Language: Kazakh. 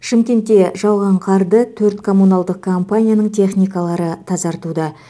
шымкентте жауған қарды төрт коммуналдық компанияның техникалары тазартуда